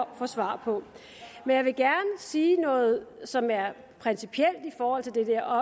at få svar på men jeg vil gerne sige noget som er principielt i forhold til det der og